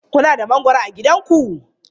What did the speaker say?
Kuna da mangwaro a gidanku?